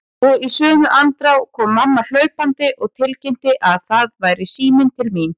Og í sömu andrá kom mamma hlaupandi og tilkynnti að það væri síminn til mín.